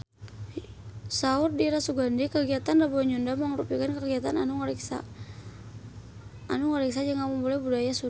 Saur Dira Sugandi kagiatan Rebo Nyunda mangrupikeun kagiatan anu ngariksa jeung ngamumule budaya Sunda